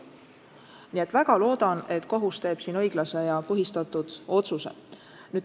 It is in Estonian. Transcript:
Ma väga loodan, et kohus teeb õiglase ja põhistatud otsuse.